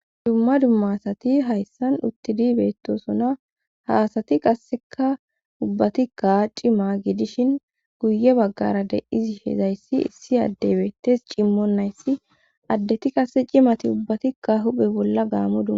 Dumma dumma asati hayssan uttidi beettosona haasati qasseka ubbatikka cima gidishin guye baggara de izi hezayssi issi addebeettes cimmon nayssi addeti qasse cimati ubbatikka huphe bolla gaamu duma.